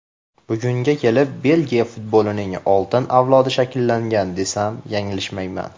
Bugunga kelib Belgiya futbolining oltin avlodi shakllangan desam, yanglishmayman.